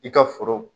I ka foro